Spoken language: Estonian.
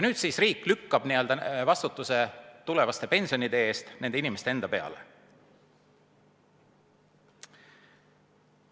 Nüüd siis riik lükkab vastutuse tulevaste pensionide eest nende inimeste endi peale.